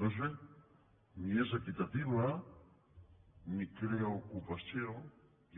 doncs bé ni és equitativa ni crea ocupació